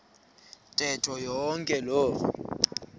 ntetho yonke loo